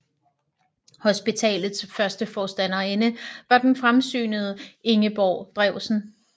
Hospitalets første forstanderinde var den fremsynede Ingeborg Drewsen